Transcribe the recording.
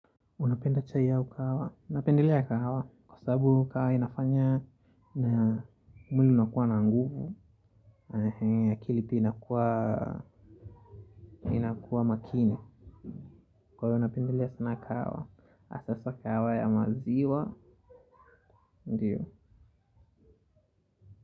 Unapenda chai au kahawa napendelea kahawa kwa sababu kahawa inafanya na mwili unakuwa na nguvu, akili pia inakuwa makini. Kwa hiyo napendelea sana kahawa, hasa kahawa ya maziwa, ndiyo.